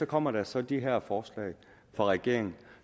kommer der så de her forslag fra regeringen